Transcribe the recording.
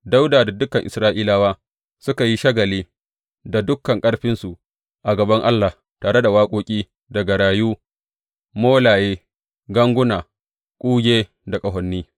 Dawuda da dukan Isra’ilawa suka yi shagali da dukan ƙarfinsu a gaban Allah, tare da waƙoƙi da garayu, molaye, ganguna, kuge da ƙahoni.